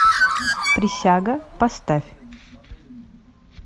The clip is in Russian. присяга поставь